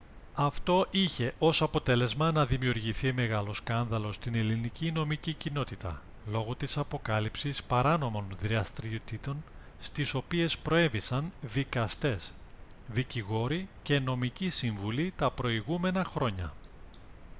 αυτό είχε ως αποτέλεσμα να δημιουργηθεί μεγάλο σκάνδαλο στην ελληνική νομική κοινότητα λόγω της αποκάλυψης παράνομων δραστηριοτήτων στις οποίες προέβησαν δικαστές δικηγόροι και νομικοί σύμβουλοι τα προηγούμενα χρόνια